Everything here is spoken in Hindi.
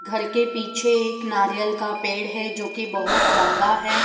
घर के पीछे एक नारियल का पेड़ है जो की बहोत लंबा है।